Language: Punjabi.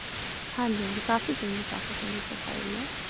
ਹਾਂਜੀ ਹਾਂਜੀ ਕਾਫ਼ੀ ਚੰਗੀ ਕਾਫ਼ੀ ਚੰਗੀ profile ਹੈ